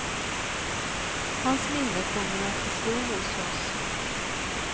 Hans minne kommer att bestå hos oss.